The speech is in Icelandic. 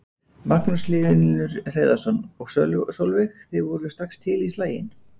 Magnús Hlynur Hreiðarsson: Og Sólveig, þið voruð strax til í slaginn?